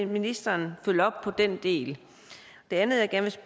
ministeren vil følge op på den del det andet andet